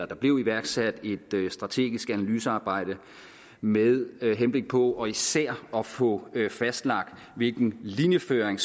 der blev iværksat et strategisk analysearbejde med henblik på især at få fastlagt hvilken linjeføring